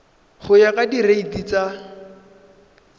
go ya ka direiti tsa